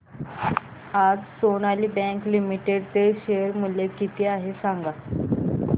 आज Sonali Bank Limited चे share मूल्य किती आहे सांगा